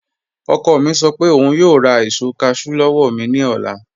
Ọkọ̀ mi sọ pé ọún yòò rá èṣò cashew lọ́wọ́ mi ni ọlá